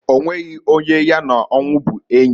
Onweghi onye ya na onwu bu enyi.